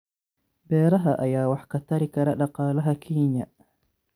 Beeraha ayaa wax ka tari kara dhaqaalaha Kenya.